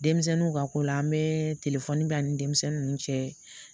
Denmisɛnninw ka ko la an bɛɛ bɛ ani denmisɛnnin ninnu cɛ